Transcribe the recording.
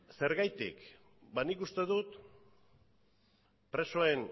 zergatik ba nik uste dut presoen